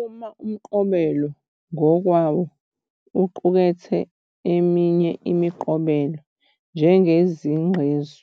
Uma umqobelo ngokwawo uqukethe eminye imiqobelo, njengezinqgqezu